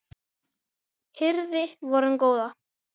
hirði vorum góða